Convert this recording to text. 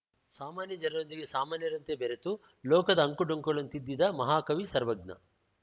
ಸಾಮಾನ್ಯ ಜನರೊಂದಿಗೆ ಸಾಮಾನ್ಯರಂತೆ ಬೆರೆತು ಲೋಕದ ಅಂಕು ಡೊಂಕುಗಳನ್ನು ತಿದ್ದಿದ ಮಹಾಕವಿ ಸರ್ವಜ್ಞ